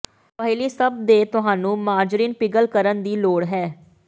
ਪਹਿਲੀ ਸਭ ਦੇ ਤੁਹਾਨੂੰ ਮਾਰਜਰੀਨ ਪਿਘਲ ਕਰਨ ਦੀ ਲੋੜ ਹੈ